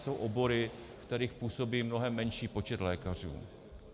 Jsou obory, ve kterých působí mnohem menší počet lékařů.